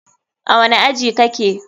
A wani aji kake?